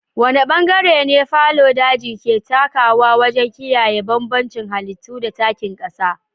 Wane bangare ne fallow daji ke takawa wajen kiyaye bambancin halittu da takin ƙasa?